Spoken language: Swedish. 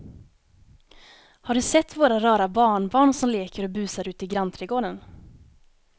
Har du sett våra rara barnbarn som leker och busar ute i grannträdgården!